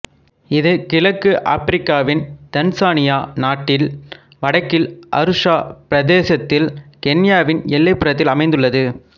இது கிழக்கு ஆப்பிரிக்காவின் தான்சானியா நாட்டின் வடக்கில் அருஷா பிரதேசத்தில் கென்யாவின் எல்லைப்புறத்தில் அமைந்துள்ளது